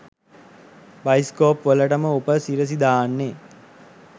Bioscope වලටම උප සිරැසි දාන්නේ.